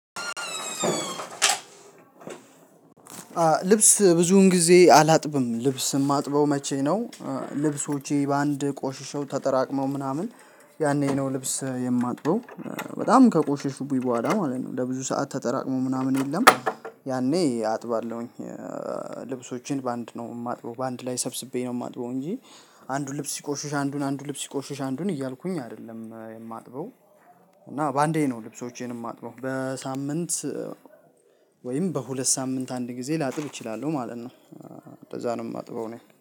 ልብስ ብዙን ጊዜ አላጥብም ልብስ የማጥበው መቼ ነው? ልብሶቼ በአንድ ቆሽሸው ተጠራቅመው ምናምን። ያኔ ነው ልብስ የማጥበው። በጣም ከቆሽሹብኝ በኋላ ማለት ነው። ለብዙ ሰዓት ተጠራቅሞ ምናምን የለም ያኔ አጥባለሁኝ። ልብሶቼን በአንድ ነው የማጥበው በአንድ ላይ ሰብስቤ ነው የማጥበው እንጂ። አንዱን ልብስ ሲቆሹሽ አንዱን አንዱን ልብስ ሲቆሹሽ አንዱን እያልኩኝ አይደለም የማጥበው። እና በአንዴ ነው ልብሶቼንም የማጥበው በሳምንት። ወይም በሁለት ሳምንት አንድ ጊዜ ላጥብ እችላለሁ ማለት ነው። እንደዛ ነው የማጥበው እኔ